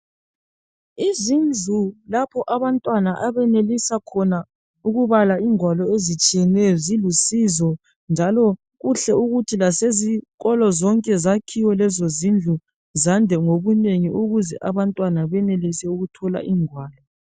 Yizindlu lapho abantwana abenelisa khona ukubala ingwalo ezitshiyeneyo zilusizo njalo kuhle ukuthi lasezikolo zonke zakhiwe lezozindlu zande ngobunengi ukuze abantwana benelise ukuthola izingwalo.